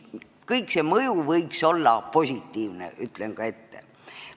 Kogu see mõju võiks olla positiivne, ütlen juba ette.